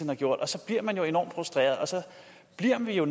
har gjort så bliver man jo enormt frustreret og så bliver